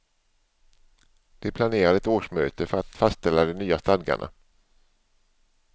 De planerade ett årsmöte för att fastställa de nya stadgarna.